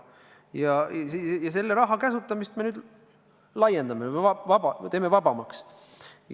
Ja selle raha käsutamist me nüüd laiendame, teeme vabamaks.